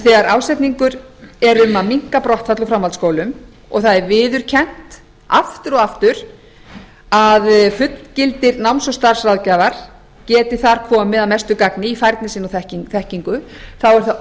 þegar ásetningur er um að minnka brottfall úr framhaldsskólum og það er viðurkennt aftur og aftur að fullgildir náms og starfsráðgjafar geti þar komið að mestu gagni í færni sinni og þekkingu er það